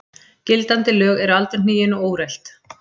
Gildandi lög eru aldurhnigin og úrelt.